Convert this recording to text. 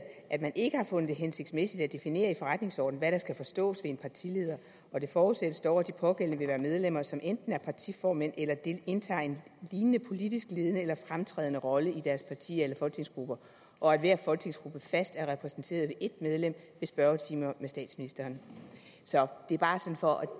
at man ikke har fundet det hensigtsmæssigt at definere i forretningsordenen hvad der skal forstås ved en partileder det forudsættes dog at de pågældende vil være medlemmer som enten er partiformænd eller indtager en lignende politisk ledende og fremtrædende rolle i deres partier eller folketingsgrupper og at hver folketingsgruppe fast er repræsenteret ved et medlem ved spørgetimer med statsministeren så det er bare for at